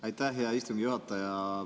Aitäh, hea istungi juhataja!